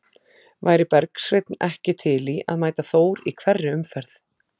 Væri Bergsveinn ekki til í að mæta Þór í hverri umferð?